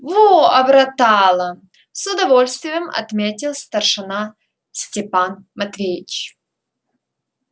во обратала с удовольствием отметил старшина степан матвеевич